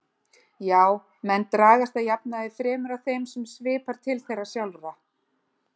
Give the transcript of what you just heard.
Já, menn dragast að jafnaði fremur að þeim sem svipar til þeirra sjálfra.